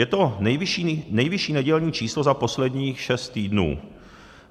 Je to nejvyšší nedělní číslo za posledních šest týdnů.